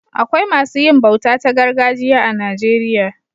Akwai masu yin bauta ta gargajiya a Najeriya.